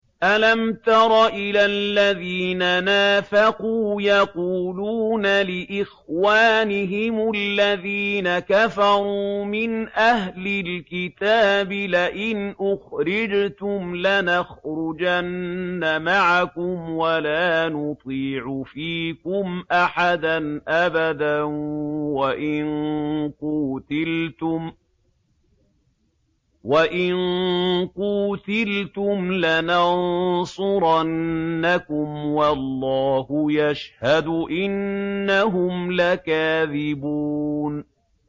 ۞ أَلَمْ تَرَ إِلَى الَّذِينَ نَافَقُوا يَقُولُونَ لِإِخْوَانِهِمُ الَّذِينَ كَفَرُوا مِنْ أَهْلِ الْكِتَابِ لَئِنْ أُخْرِجْتُمْ لَنَخْرُجَنَّ مَعَكُمْ وَلَا نُطِيعُ فِيكُمْ أَحَدًا أَبَدًا وَإِن قُوتِلْتُمْ لَنَنصُرَنَّكُمْ وَاللَّهُ يَشْهَدُ إِنَّهُمْ لَكَاذِبُونَ